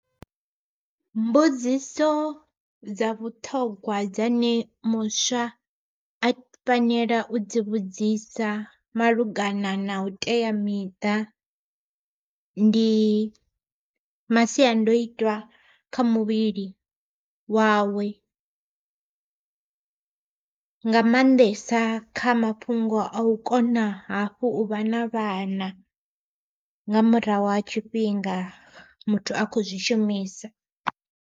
Mbudziso dza vhuṱhogwa dzane muswa a fanela u dzi vhudzisa malugana na u teamiṱa, ndi masiandoitwa kha muvhili wawe. Nga maanḓesa kha mafhungo a u kona hafhu u vha na vhana, nga murahu ha tshifhinga muthu akho zwishumisa.